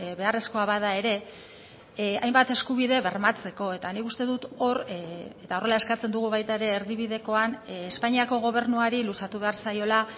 beharrezkoa bada ere hainbat eskubide bermatzeko eta nik uste dut hor eta horrela eskatzen dugu baita ere erdibidekoan espainiako gobernuari luzatu behar zaiola